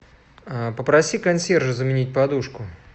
попроси консьержа заменить подушку